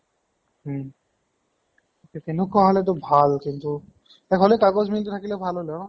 উম । তেনেকুৱা হলে টো ভাল কিন্তু হলেও কাগজ mill টো থেকিলে ভাল হলে হয়।